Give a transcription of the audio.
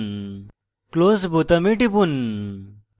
close বোতামে টিপুন